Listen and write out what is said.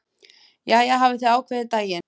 Jæja, hafið þið ákveðið daginn?